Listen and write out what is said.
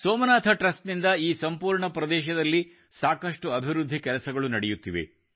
Somnath trust ನಿಂದ ಈ ಸಂಪೂರ್ಣ ಪ್ರದೇಶದಲ್ಲಿ ಸಾಕಷ್ಟು ಅಭಿವೃದ್ಧಿ ಕೆಲಸಗಳು ನಡೆಯುತ್ತಿವೆ